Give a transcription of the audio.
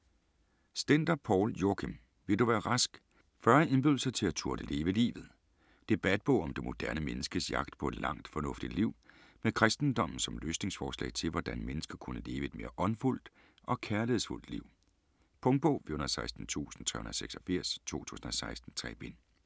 Stender, Poul Joachim: Vil du være rask?: 40 indbydelser til at turde leve livet Debatbog om det moderne menneskes jagt på et langt, fornuftigt liv. Med kristendommen som løsningsforslag til, hvordan mennesker kunne leve et mere åndfuldt og kærlighedsfuldt liv. Punktbog 416386 2016. 3 bind.